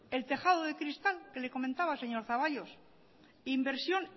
el tejado de cristal que le comentaba señor zaballos inversión